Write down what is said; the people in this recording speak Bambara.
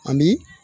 Ani